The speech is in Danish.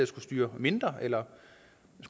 skulle styre mindre eller